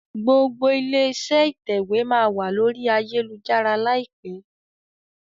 gbogbo ilé-iṣẹ́ ìtẹ̀wé má wá lórí Ayélujára láìpé.